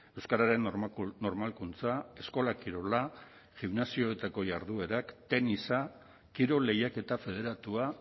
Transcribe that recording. euskararen normalkuntza eskola kirola gimnasioetako jarduerak tenisa kirol lehiaketa federatua